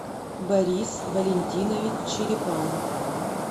борис валентинович черепанов